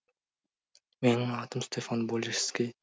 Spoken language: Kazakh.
менің атым стефан болешске